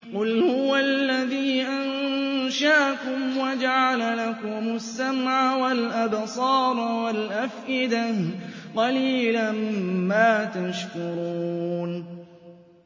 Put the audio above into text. قُلْ هُوَ الَّذِي أَنشَأَكُمْ وَجَعَلَ لَكُمُ السَّمْعَ وَالْأَبْصَارَ وَالْأَفْئِدَةَ ۖ قَلِيلًا مَّا تَشْكُرُونَ